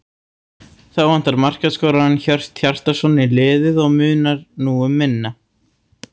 Þá vantar markaskorarann Hjört Hjartarson í liðið og munar nú um minna.